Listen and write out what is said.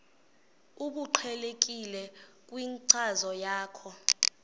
obuqhelekileyo kwinkcazo yakho